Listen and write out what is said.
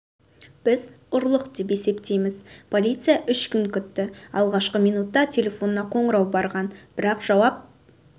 біз ұрлық деп есептейміз полиция үш күн күтті алғашқы минутта телефонына қоңырау барған бірақ жауап